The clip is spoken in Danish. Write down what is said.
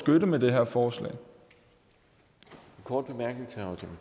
udmærket lovforslag i forhold